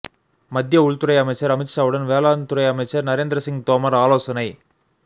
மத்திய உள்த்துறை அமைச்சர் அமித்ஷாவுடன் வேளாண்துறை அமைச்சர் நரேந்திரசிங் தோமர் ஆலோசனை